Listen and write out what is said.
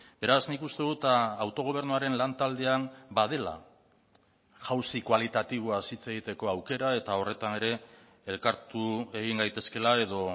beraz nik uste dut autogobernuaren lantaldean badela jauzi kualitatiboaz hitz egiteko aukera eta horretan ere elkartu egin gaitezkeela edo